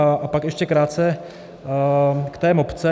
A pak ještě krátce k té mapce.